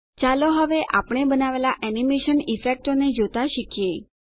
ચાલો હવે આપણે બનાવેલાં એનીમેશન ઇફેક્ટોને જોતા શીખીએ